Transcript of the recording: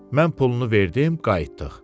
Mən pulunu verdim, qayıtdıq.